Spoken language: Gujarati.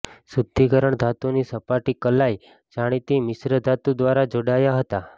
શુદ્ધિકરણ ધાતુની સપાટી કલાઈ જાણીતી મિશ્રધાતુ દ્વારા જોડાયા હતા